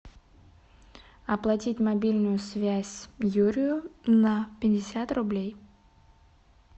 оплатить мобильную связь юрию на пятьдесят рублей